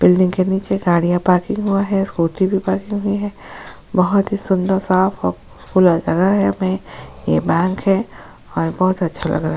Building के नीचे गाड़ियां पार्किंग हुआ है स्कूटी भी पार्किंग हुई है बहुत ही सुंदर साफ और खुला जगह मैं ये बैंक है और बहुत अच्छा लगा हैं।